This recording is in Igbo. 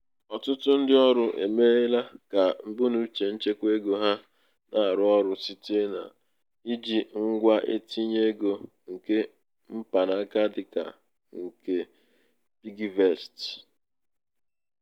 ọtụtụ ndị ọrụ emeela ka mbunuche nchekwa ego ha na-arụ ọrụ site n'iji ngwa ntinye ego nke mpanaka dịka um nke nke piggyvest.